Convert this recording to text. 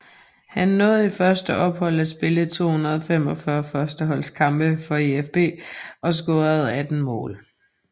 Han nåede i første ophold at spille 245 førsteholdskampe for EfB og score 18 mål